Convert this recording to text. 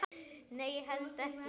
Nei, held ekki.